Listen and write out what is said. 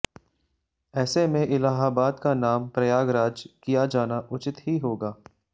ऐसे में इलाहाबाद का नाम प्रयाग राज किया जाना उचित ही होगा